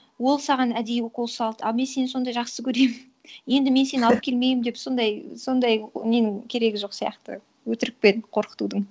ол саған әдейі укол салды ал мен сені сондай жақсы көремін енді мен сені алып келмеймін деп сондай ненің керегі жоқ сияқты өтірікпен қорқытудың